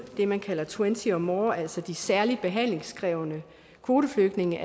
det man kalder for twenty or more altså de særligt behandlingskrævende kvoteflygtninge